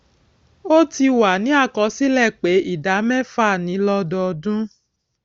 ó ti wà ní àkọsílè pé ìdá méfà ni lódọọdún